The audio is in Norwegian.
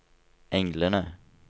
englene